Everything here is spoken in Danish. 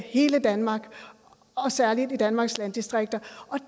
hele danmark og særlig i danmarks landdistrikter